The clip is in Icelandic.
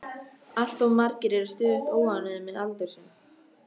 Allt of margir eru stöðugt óánægðir með aldur sinn.